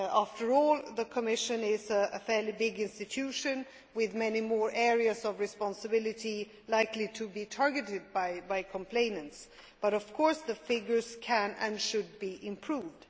After all, the Commission is a fairly big institution with many more areas of responsibility likely to be targeted by complainants but, of course, the figures can and should be improved.